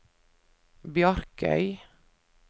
Bjarkøy